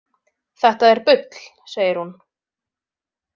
Þetta er bull, segir hún.